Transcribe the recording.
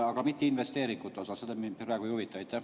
Aga mitte investeeringute osa, see mind praegu ei huvita.